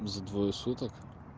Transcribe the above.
за двое суток